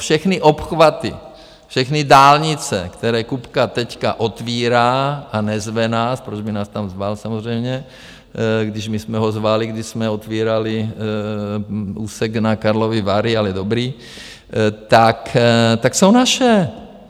Všechny obchvaty, všechny dálnice, které Kupka teď otvírá, a nezve nás - proč by nás tam zval samozřejmě, když my jsme ho zvali, když jsme otvírali úsek na Karlovy Vary? - ale dobrý, tak jsou naše.